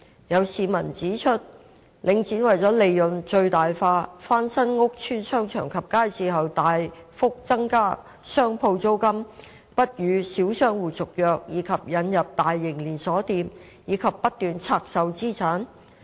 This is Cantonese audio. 有市民指出，領展為了利潤最大化，翻新屋邨商場及街市後大幅增加商鋪租金、不與小商戶續約以及引入大型連鎖店，以及不斷拆售資產。